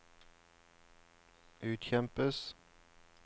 utkjempes